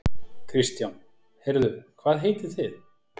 Kristján: Heyrðu hvað heitið þið?